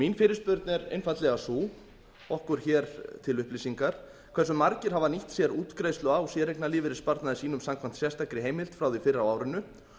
mín fyrirspurn er einfaldlega sú okkur til upplýsingar hversu margir hafa nýtt sér útgreiðslu á séreignarlífeyrissparnaði sínum samkvæmt sérstakri heimild frá því fyrr á árinu